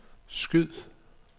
skyd